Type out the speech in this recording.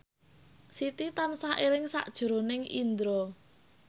Siti tansah eling sakjroning Indro